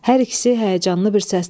Hər ikisi həyəcanlı bir səslə: